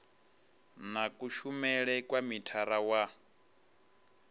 na kushumele kwa mithara wa